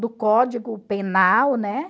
Do código penal, né?